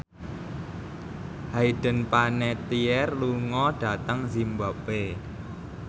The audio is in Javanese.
Hayden Panettiere lunga dhateng zimbabwe